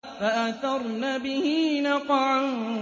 فَأَثَرْنَ بِهِ نَقْعًا